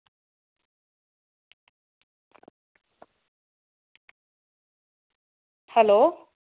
hello